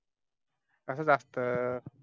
आसच असत